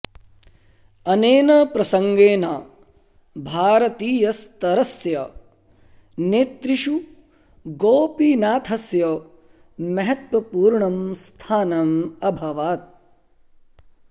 अनेन प्रसङ्गेन भारतीयस्तरस्य नेतृषु गोपीनाथस्य महत्त्वपूर्णं स्थानम् अभवत्